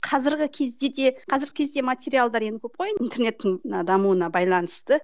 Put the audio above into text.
қазіргі кезде де қазіргі кезде материалдар енді көп қой енді интернеттің дамуына байланысты